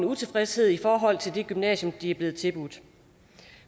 utilfredshed i forhold til det gymnasium de er blevet tilbudt